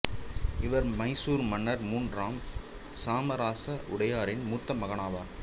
இவர் மைசூர் மன்னர் மூன்றாம் சாமராச உடையாரின் மூத்த மகனாவார்